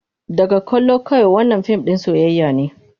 Daga kallo kawai, wannan fim ɗin soyayya ne.